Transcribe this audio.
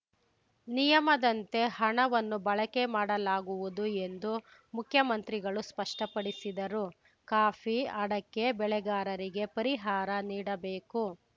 ನಿಯಮದಂತೆ ಹಣವನ್ನು ಬಳಕೆ ಮಾಡಲಾಗುವುದು ಎಂದು ಮುಖ್ಯಮಂತ್ರಿಗಳು ಸ್ಪಷ್ಟಪಡಿಸಿದರು ಕಾಫಿ ಅಡಕೆ ಬೆಳೆಗಾರರಿಗೆ ಪರಿಹಾರ ನೀಡಬೇಕು